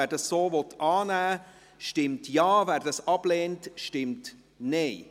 Wer dies so annehmen will, stimmt Ja, wer dies ablehnt, stimmt Nein.